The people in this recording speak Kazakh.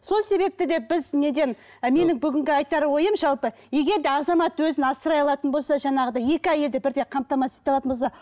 сол себепте де біз неден ы менің бүгінгі айтар ойым жалпы егер де азамат өзін асырай алатын болса жаңағыдай екі әйелді бірдей қамтамасыз ете алатын болса